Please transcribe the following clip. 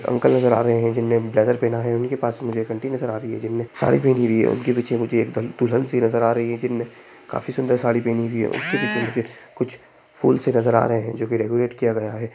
Uncle नज़र आ रहे है जिनने ब्लेजर पेहना है उनके पास में एक आंटी नज़र आ रही है जिनने साड़ी पहेनी हुई है उनके पीछे मुझे एक दुल्हन सी नज़र आ रही है जिनने काफी सुंदर साड़ी पहेनी हुई है उनके पीछे मुझे कुछ फूल से नज़र आ रहे हैं जो कि डेकोरेट किया गया है।